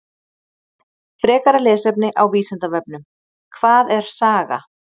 Frekara lesefni á Vísindavefnum: Hvað er saga?